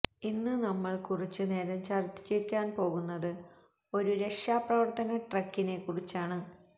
ഇന്ന് നമ്മള് കുറച്ചു നേരം ചര്ച്ചിക്കാന് പോകുന്നത് ഒരു രക്ഷാപ്രവര്ത്തന ട്രക്കിനെക്കുറിച്ചാണ്